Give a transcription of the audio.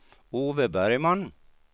Ove Bergman